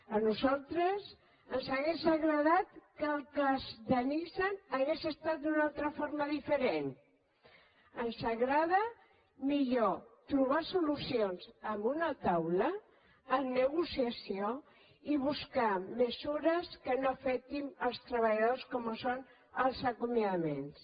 a nosaltres ens hauria agradat que el cas de nissan hagués estat d’una altra forma diferent ens agrada millor trobar solucions en una taula amb negociació i buscar mesures que no afectin els treballadors com són els acomiadaments